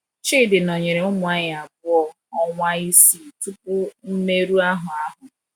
Chidi nọnyere ụmụ anyị abụọ, ọnwa isii tupu mmerụ ahụ ahụ.